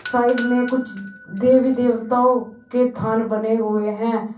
Side में कुछ देवी देवताओं के थान बने हुए हैं।